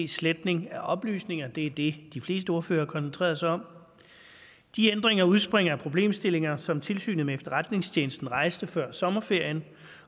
sletning af oplysninger det er det de fleste ordførere har koncentreret sig om de ændringer udspringer af problemstillinger som tilsynet med efterretningstjenesterne rejste før sommerferien